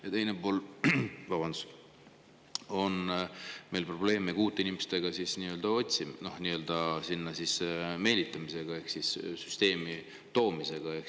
Ja teiseks, meil on probleeme ka uute inimeste otsimisega, süsteemi meelitamisega ehk süsteemi toomisega.